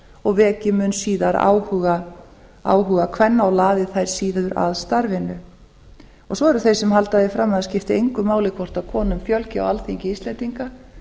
og veki mun eða r áhuga kvenna og laði þær síður að starfinu svo eru þeir sem halda því fram að það skipti engu máli hvort konum fjölgi á alþingi íslendinga